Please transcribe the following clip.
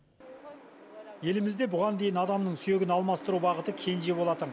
елімізде бұған дейін адамның сүйегін алмастыру бағыты кенже болатын